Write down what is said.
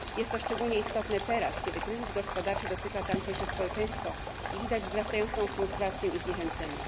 Jest to szczególnie istotne teraz, kiedy kryzys gospodarczy dotyka tamtejsze społeczeństwo i widać wzrastającą frustrację i zniechęcenie.